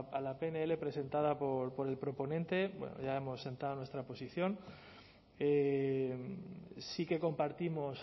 a la pnl presentada por el proponente bueno ya hemos entrado en nuestra posición sí que compartimos